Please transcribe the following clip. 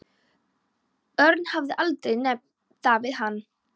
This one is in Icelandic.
Örn hafði aldrei nefnt það við hann.